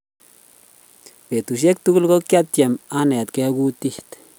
betushek tugul ko kiatem anetgei kutit